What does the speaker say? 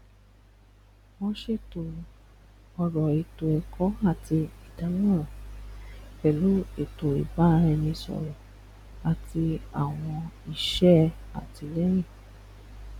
wọn ṣètò ọrọ ètò ẹkọ àti ìdámọràn pẹlú ètò ìbáraẹnisọrọ àti àwọn iṣẹ àtìlẹyìn